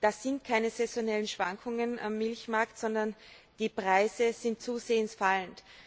Das sind keine saisonalen Schwankungen am Milchmarkt, sondern die Preise sind zusehends fallend.